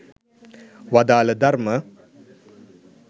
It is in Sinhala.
වදාළ ධර්ම